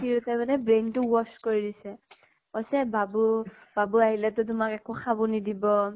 তিৰুতাই মানে brain তো wash কৰি দিছে । কৈছে বাবু , বাবু আহিলে তো তোমাক একো খাব নিদিব